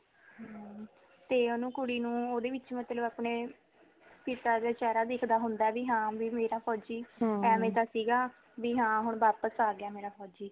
ਹਾਂ ਤੇ ਓਨੂੰ ਕੁੜੀ ਨੂੰ ਓਹਦੇ ਵਿੱਚ ਮਤਲਬ ਅਪਣੇ ਪਿਤਾ ਦਾ ਚੇਹਰਾ ਦਿਖਦਾ ਹੋਂਦਾ ਕੀ ਹਾਂ ਮੇਰਾ ਫੋਜੀ ਐਵੇ ਦਾ ਸੀਗਾ ਬੀ ਹਾਂ ਹੁਣ ਵਾਪਸ ਆ ਗਿਆ ਮੇਰਾ ਫੋਜੀ